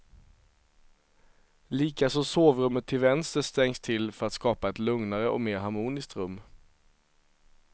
Likaså sovrummet till vänster stängs till för att skapa ett lugnare och mer harmoniskt rum.